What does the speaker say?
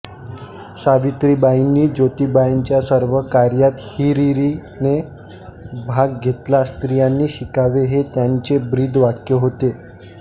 सावित्रीबाईनी जोतिबांच्या सर्व कार्यात हिरीरीने भाग घेतला स्त्रियांनी शिकावे हे त्यांचे ब्रीद वाक्य होते